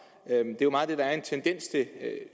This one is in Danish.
det er jo meget det der er en tendens til